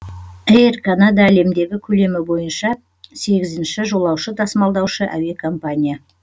эйр канада әлемдегі көлемі бойынша сегізінші ші жолаушы тасымалдаушы әуе компания